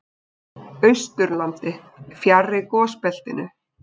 Austurlandi, fjarri gosbeltinu.